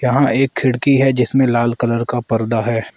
यहां एक खिड़की है जिसमें लाल कलर का पर्दा है।